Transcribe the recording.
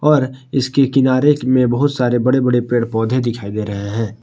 और इसके किनारे में बहुत सारे बड़े बड़े पेड़ पौधे दिखाई दे रहे हैं।